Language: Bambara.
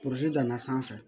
Purusi danna sanfɛ